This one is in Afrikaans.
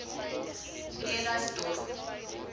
bredasdorp